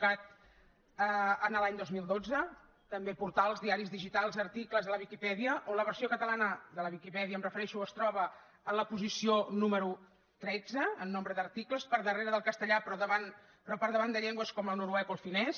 cat l’any dos mil dotze també portals diaris digitals articles a la viquipèdia on la versió catalana de la viquipèdia em refereixo es troba en la posició número tretze en nombre d’articles per darrere del castellà però per davant de llengües com el noruec o el finès